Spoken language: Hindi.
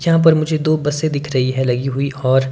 जहां पर मुझे दो बसे दिख रही है लगी हुई और--